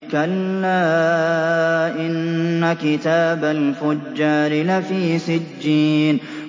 كَلَّا إِنَّ كِتَابَ الْفُجَّارِ لَفِي سِجِّينٍ